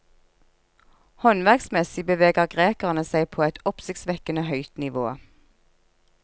Håndverksmessig beveger grekerne seg på et oppsiktsvekkende høyt nivå.